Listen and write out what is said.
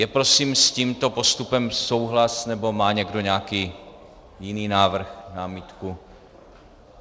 Je prosím s tímto postupem souhlas, nebo má někdo nějaký jiný návrh, námitku?